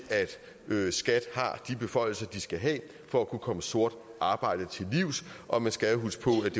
at skat har de beføjelser som de skal have for at kunne komme sort arbejde til livs og man skal jo huske på at